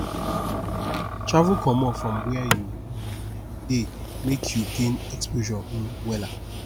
travel comot from wia you um dey mek you gain exposure um wella